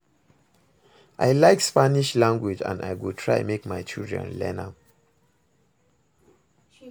I like Spanish language and I go try make my children learn am